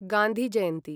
Gandhi Jayanti